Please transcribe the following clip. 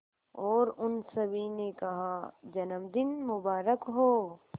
और उन सभी ने कहा जन्मदिन मुबारक हो